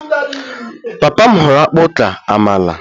Papa m họọrọ akpu ka amala